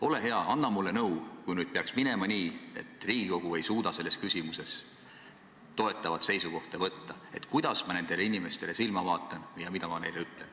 Ole hea, anna mulle nõu, kui nüüd peaks minema nii, et Riigikogu ei suuda selles küsimuses toetavat seisukohta võtta, kuidas ma nendele inimestele silma vaatan ja mida ma neile ütlen.